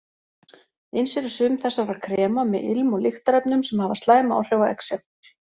Eins eru sum þessara krema með ilm- og lyktarefnum sem hafa slæm áhrif á exem.